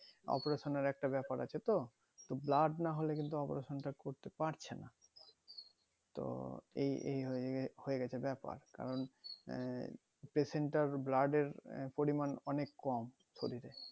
operation এর কত ব্যাপার আছে তো তো blood নাহোলে কিন্তু operation টা করতে পারছেনা তো এই এই হয়ে হয়ে গেছে ব্যাপার কারণ আহ patient টার blood এর আহ পরিমান অনেক কম শরীরে